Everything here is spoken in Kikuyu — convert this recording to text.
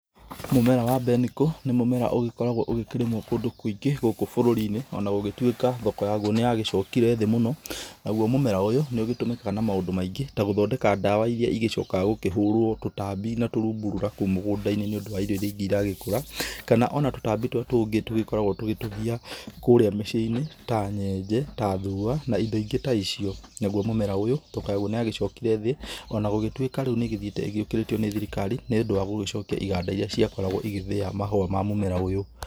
Mũmera wa mbeniko nĩ mũmera ũgĩkoragwo ũkĩrĩmwo kũndũ kũingĩ gũkũ bũrũri-inĩ, ona gũgĩtuĩka thoko yaguo nĩ ya gĩcokire thĩ mũno. Naguo mũmera ũyũ nĩ ũgĩtũmĩkaga na maũndũ maingi ta gũthondeka ndawa iria igĩcokaga gũkĩhũrwo tũtambi na tũrungura kũu mũgũnda-inĩ, nĩ ũndũ wa irio iria ingĩ iragĩkũra. Kana ona tũtambi tũrĩa tũngĩ tũgĩkoragwo tũgĩtũgia kũrĩa mĩciĩ-inĩ ta nyenje, ta thua na indo ingĩ ta icio. Naguo mũmera ũyũ thoko yaguo nĩ yagĩcokire thĩ onagũgĩtuĩka rĩu nĩ ĩgĩthiĩte ĩgĩũkĩrĩtio nĩ thirikari, nĩ ũndũ wa gũgĩcokia iganda iria ciakoragwo igĩthĩa mahũa ma mũmera ũyũ.